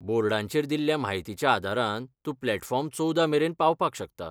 बोर्डांचेर दिल्ल्या म्हायतीच्या आदारान तूं प्लॅटफॉर्म चोवदा मेरेन पावपाक शकता.